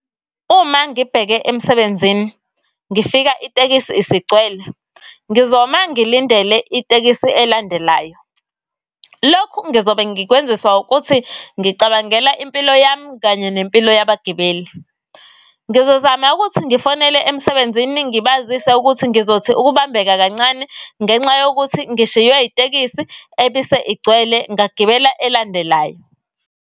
Uma ngibheke emsebenzini ngifika itekisi isigcwele ngizoma ngilindele itekisi elandelayo. Lokhu ngizobe ngikwenziswa ukuthi ngicabangela impilo yami nempilo yabagibeli. Ngizozama ukuthi ngifonele emsebenzini ngibazise ukuthi ngizothi ukubambeka kancane ngenxa yokuthi ngishiywe itekisi ebise igcwele ngagibela elandelayo.